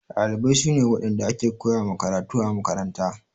Ɗalibai su ne waɗanda ake koya ma karatu a makaranta.